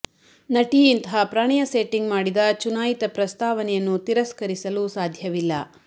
ನಟಿ ಇಂತಹ ಪ್ರಣಯ ಸೆಟ್ಟಿಂಗ್ ಮಾಡಿದ ಚುನಾಯಿತ ಪ್ರಸ್ತಾವನೆಯನ್ನು ತಿರಸ್ಕರಿಸಲು ಸಾಧ್ಯವಿಲ್ಲ